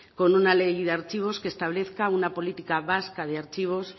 con una ley de archivos que establezca una política vasca de archivos